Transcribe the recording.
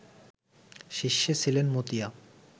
শীর্ষে ছিলেন মতিয়া